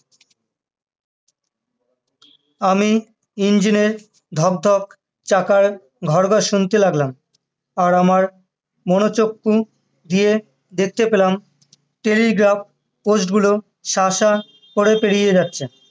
আমি engine এর ধক ধক চাকার ঘর ঘর শুনতে লাগলাম আর আমার মনে হচ্ছিলো কুঁ গিয়ে দেখতে পেলাম telegraph post গুলো সা সা করে পেরিয়ে যাচ্ছে